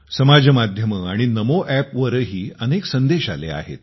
समाज माध्यमं आणि नमो अॅपवरही अनेक संदेश आले आहेत